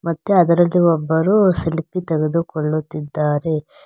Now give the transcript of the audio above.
ಮತ್ತೆ ಅದರಲ್ಲಿ ಒಬ್ಬರು ಸೆಲ್ಫಿ ತೆಗೆದುಕೊಳ್ಳುತ್ತಿದ್ದಾರೆ.